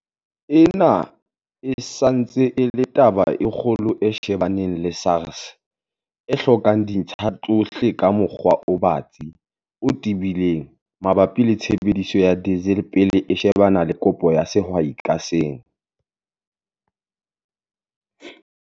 Ena e sa ntse e le taba e kgolo e shebaneng le SARS, e hlokang dintlha tsohle ka mokgwa o batsi, o tebileng, mabapi le tshebediso ya diesel pele e shebana le kopo ya sehwai ka seng.